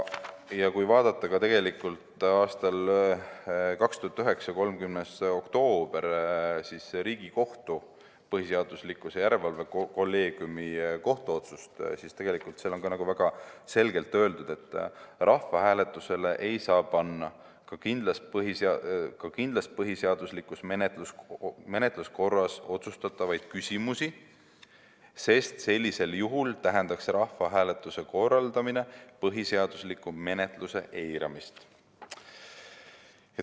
2009. aasta 30. oktoobril tehtud Riigikohtu põhiseaduslikkuse järelevalve kolleegiumi kohtuotsuses on väga selgelt öeldud, et rahvahääletusele ei saa panna ka kindlas põhiseaduslikus menetluskorras otsustatavaid küsimusi, sest sellisel juhul tähendaks rahvahääletuse korraldamine põhiseadusliku menetluse eiramist.